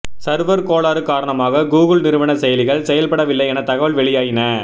server கோளாறு காரணமாக Google நிறுவன செயலிகள் செயல்படவில்லை என தகவல் வெளியாயின